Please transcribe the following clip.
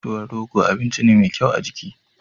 Tuwon rogo abinci ne mai kyau ga jiki.